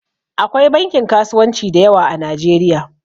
Akwai bankin kasuwanci da yawa a Nijeriya